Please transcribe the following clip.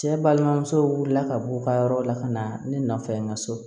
Cɛ balimamusow wulila ka bɔ u ka yɔrɔw la ka na ne nɔfɛ n ka so